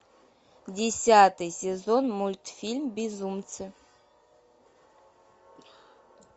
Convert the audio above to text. десятый сезон мультфильм безумцы